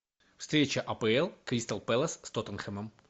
встреча апл кристал пэлас с тоттенхэмом